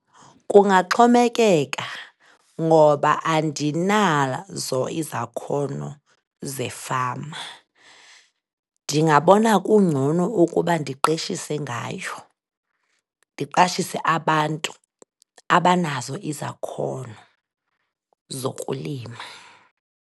Kungaxhomekeka ngoba andinazo izakhono zefama. Ndingabona kungcono ukuba ndiqeshise ngayo, ndiqashise abantu abanazo izakhono zokulima.